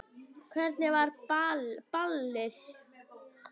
Hvernig var ballið?